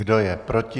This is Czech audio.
Kdo je proti?